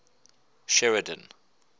sheridan